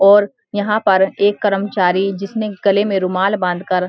और यहाँ पर एक कर्मचारी जिसने गले में रुमाल बांधकर --